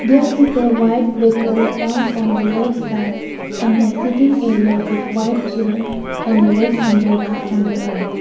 there is a white vehicle parked on the left side and a seating area with white chair and a red umbrella on the right.